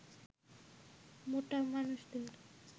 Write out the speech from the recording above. মোটা মানুষদের